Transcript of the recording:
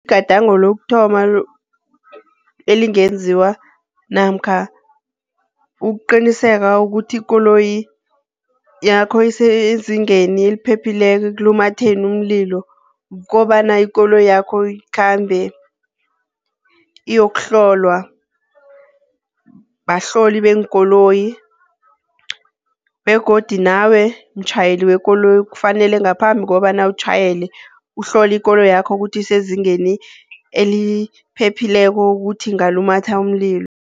Igadango lokuthoma elingenziwa namkha ukuqiniseka ukuthi ikoloyi yakho isezingeni eliphephileko ekulumatheni umlilo, kukobana ikoloyakho ikhambe iyokuhlolwa, bahloli beenkoloyi. Begodu nawe mtjhayeli wekoloyi kufanele ngaphambi kobana utjhayele, uhlole ikoloyakho kuthi isezingeni eliphephileko kuthi ingalumatha umlilo.